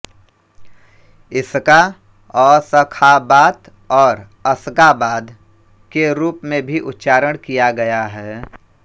इसका अशख़ाबात और अश्गाबाद के रूप में भी उच्चारण किया गया है